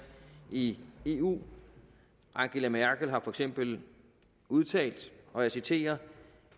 i eu angela merkel har for eksempel udtalt og jeg citerer